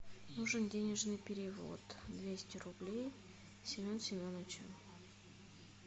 нужен денежный перевод двести рублей семен семеновичу